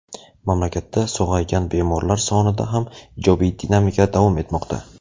mamlakatda sog‘aygan bemorlar sonida ham ijobiy dinamika davom etmoqda.